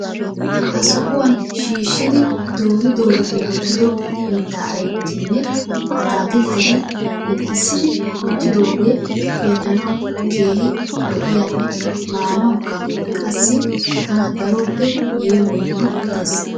Ha sohuwan shiishshidi doori dooridi wottido mittaa ayipettinne ataakiltteti murutissidi wottidooge xeellanawu keehi lo'iyaanne maanawukka qassi tana daroppe yeemoyiiddi des.